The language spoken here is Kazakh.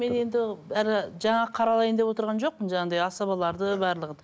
мен енді бәрі жаңа қаралайын деп отырған жоқпын жаңағындай асабаларды барлығын